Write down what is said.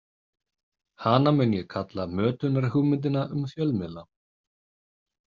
Hana mun ég kalla mötunarhugmyndina um fjölmiðla.